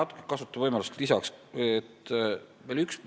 Kõigepealt kasutan võimalust ja lisan veel juurde eelmisele vastusele.